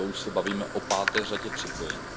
A to už se bavíme o páté řadě připojení.